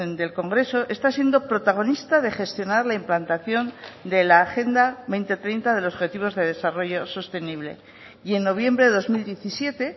del congreso está siendo protagonista de gestionar la implantación de la agenda dos mil treinta de los objetivos de desarrollo sostenible y en noviembre de dos mil diecisiete